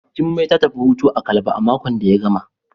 Jummai ta tafi hutu a Calabar a makon da ya gama.